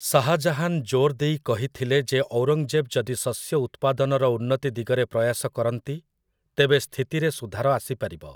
ଶାହାଜାହାନ୍ ଜୋର୍‌ ଦେଇ କହିଥିଲେ ଯେ ଔରଙ୍ଗଜେବ୍ ଯଦି ଶସ୍ୟ ଉତ୍ପାଦନର ଉନ୍ନତି ଦିଗରେ ପ୍ରୟାସ କରନ୍ତି, ତେବେ ସ୍ଥିତିରେ ସୁଧାର ଆସିପାରିବ ।